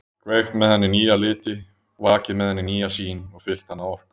Kveikt með henni nýja liti, vakið með henni nýja sýn og fyllt hana orku.